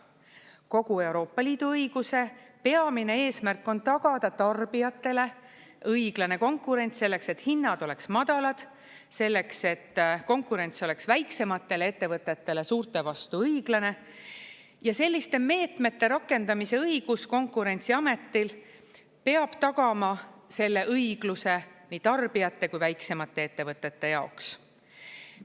Kogu Euroopa Liidu õiguse peamine eesmärk on tagada tarbijatele õiglane konkurents, selleks et hinnad oleksid madalad, selleks et konkurents oleks väiksematele ettevõtetele suurte vastu õiglane, ja selliste meetmete rakendamise õigus Konkurentsiametil peab tagama selle õigluse nii tarbijate kui väiksemate ettevõtete jaoks.